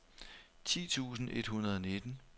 ti tusind et hundrede og nitten